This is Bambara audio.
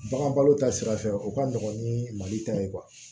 Bagan balo ta sira fɛ o ka nɔgɔn ni mali ta ye